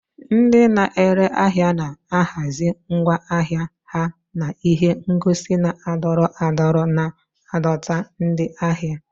Ndị na-ere ahịa na-ahazi ngwa ahịa ha na ihe ngosi na-adọrọ adọrọ, na-adọta ndị ahịa.